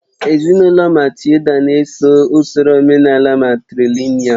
Ezinụlọ Matilda na-eso usoro omenaala matrìlị̀nị́al